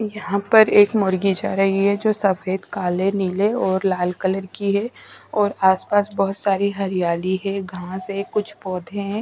यहाँ पर एक मुर्गी जा रही है जो सफेद काले नीले और लाल कलर की है और आसपास बहुत सारी हरियाली है घांस है कुछ पौधे हैं।